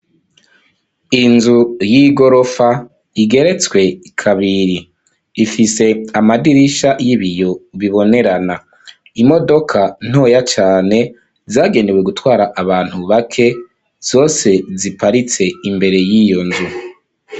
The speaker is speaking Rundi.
Inzu y'igorofa igeretse kabiri. Ifise amadirisha y'ibiyo bibonerana. Imodoka ntoya cane zagenewe gutwara abantu bake zose ziparitse imbere y'iyo nzu.